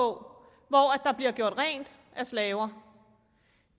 hvor der bliver gjort rent af slaver